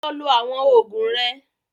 Lọ lo àwọn òògùn rẹ!